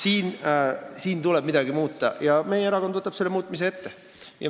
Midagi tuleb muuta ja meie erakond võtab selle muutmise ette.